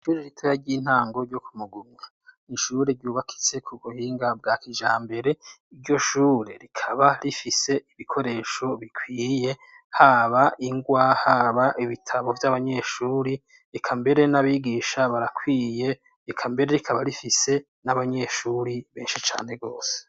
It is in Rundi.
Ishure ritoya ry'intango ryo ku Mugumya. ishure ryubakitse ku buhinga bwa kijambere. Iryo shure rikaba rifise ibikoresho bikwiye haba ingwa haba ibitabo vy'abanyeshuri. Eka mbere n'abigisha barakwiye, eka mbere rikaba rifise n'abanyeshuri benshi cane gose.